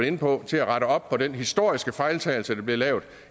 inde på til at rette op på den historiske fejltagelse der blev lavet